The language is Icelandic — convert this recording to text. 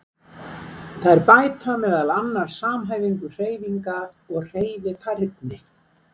Þær bæta meðal annars samhæfingu hreyfinga og hreyfifærni.